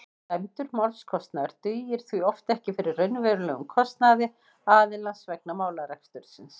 dæmdur málskostnaður dugir því oft ekki fyrir raunverulegum kostnaði aðilans vegna málarekstursins